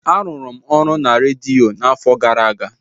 Arụrụ m ọrụ na redio n'afọ gara aga.